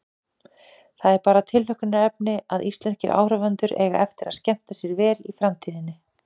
Það er bara tilhlökkunarefni að íslenskir áhorfendur eiga eftir að skemmta sér vel í framtíðinni.